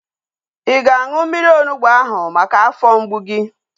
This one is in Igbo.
Ị ga-aṅụ mmiri onugbu ahu maka afọ mgbu gị?